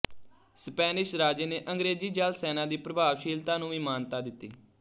Spanish ਰਾਜੇ ਨੇ ਅੰਗਰੇਜ਼ੀ ਜਲ ਸੈਨਾ ਦੀ ਪ੍ਰਭਾਵਸ਼ੀਲਤਾ ਨੂੰ ਵੀ ਮਾਨਤਾ ਦਿੱਤੀ